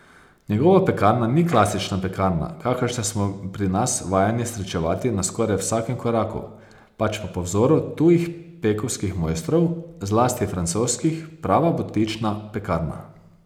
Njegova pekarna ni klasična pekarna, kakršne smo pri nas vajeni srečevati na skoraj vsakem koraku, pač pa po vzoru tujih pekovskih mojstrov, zlasti francoskih, prava butična pekarna.